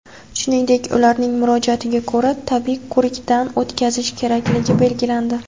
shuningdek ularning murojaatiga ko‘ra tibbiy ko‘rikdan o‘tkazish kerakligi belgilandi.